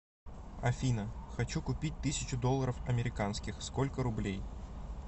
афина хочу купить тысячу долларов американских сколько рублей